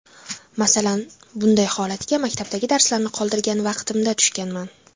Masalan, bundan holatga maktabdagi darslarni qoldirgan vaqtimda tushganman.